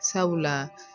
Sabula